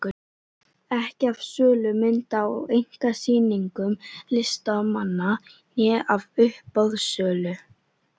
Ekki af sölu mynda á einkasýningum listamanna né af uppboðssölu.